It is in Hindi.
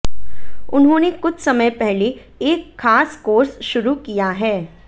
उन्होंने कुछ समय पहले एक ख़ास कोर्स शुरू किया है